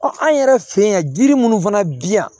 an yɛrɛ fɛ yan yiri minnu fana bi yan